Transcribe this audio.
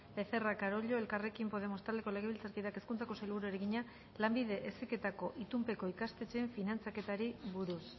becerra carollo elkarrekin podemos taldeko legebiltzarkideak hezkuntzako sailburuari egina lanbide heziketako itunpeko ikastetxeen finantzaketari buruz